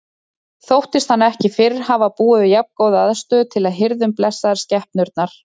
Þóttist hann ekki fyrr hafa búið við jafngóða aðstöðu til að hirða um blessaðar skepnurnar.